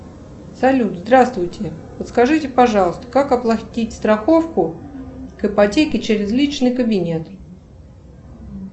салют здравствуйте подскажите пожалуйста как оплатить страховку к ипотеке через личный кабинет